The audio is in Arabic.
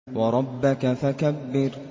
وَرَبَّكَ فَكَبِّرْ